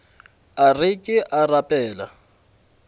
a re ke a rapela